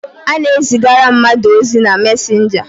A na-ezigara mmadụ ozi na messenger.